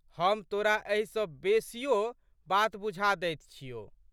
हम तोरा एहि सँ बेशियो बात बुझा दैत छियौ।